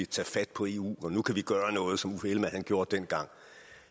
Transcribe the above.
tage fat på eu for nu kan vi gøre noget som uffe ellemann gjorde dengang